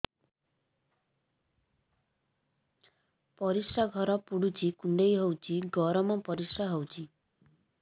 ପରିସ୍ରା ଘର ପୁଡୁଚି କୁଣ୍ଡେଇ ହଉଚି ଗରମ ପରିସ୍ରା ହଉଚି